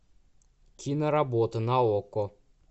киноработа на окко